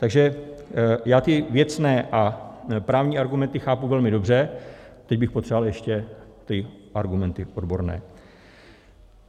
Takže já ty věcné a právní argumenty chápu velmi dobře, teď bych potřeboval ještě ty argumenty odborné.